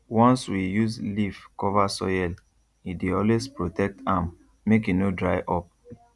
once we use leaf cover soil e dey always protect am make e no dry up